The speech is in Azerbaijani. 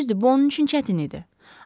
Düzdür, bu onun üçün çətin idi.